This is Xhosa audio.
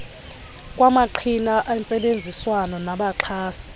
kwamaqhina entsebenziswano nabaxhasi